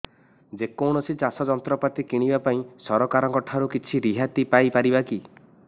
ଯେ କୌଣସି ଚାଷ ଯନ୍ତ୍ରପାତି କିଣିବା ପାଇଁ ସରକାରଙ୍କ ଠାରୁ କିଛି ରିହାତି ପାଇ ପାରିବା କି